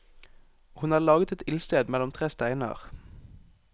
Hun hadde laget et ildsted mellom tre steiner.